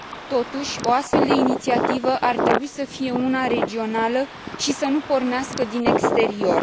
Totuși, o astfel de inițiativă ar trebui să fie una regională și să nu pornească din exterior.